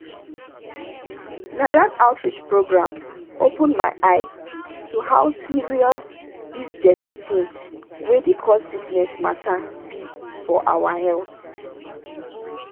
na that outreach program open my eye to how serious these dirty things wey dey cause sickness matter be for our health.